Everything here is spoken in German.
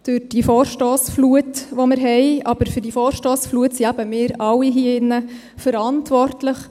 Für diese Vorstossflut zeichnen eben wir alle hier drin verantwortlich.